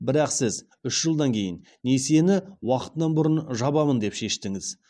бірақ сіз үш жылдан кейін несиені уақытынан бұрын жабамын деп шештіңіз